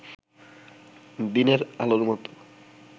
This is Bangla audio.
দিনের আলোর মতো